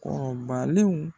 Kɔrɔbalenw